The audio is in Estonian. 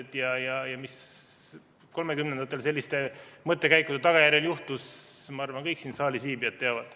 Seda, mis 1930‑ndatel selliste mõttekäikude tagajärjel juhtus, ma arvan, kõik siin saalis viibijad teavad.